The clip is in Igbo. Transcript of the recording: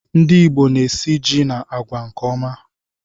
Ndị ìgbo na esị jị na àgwà nke ọma